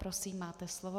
Prosím, máte slovo.